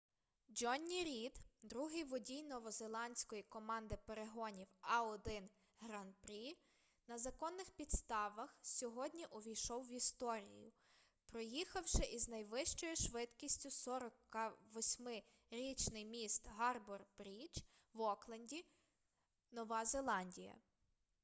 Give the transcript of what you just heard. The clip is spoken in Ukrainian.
джонні рід другий водій новозеландської команди перегонів a1 гран-прі на законних підставх сьогодні увійшов в історію проїхавши із найвищою швидкістю 48-річний міст гарбор-брідж в окленді нова зеландія